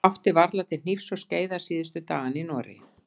Ég átti varla til hnífs og skeiðar síðustu dagana í Noregi.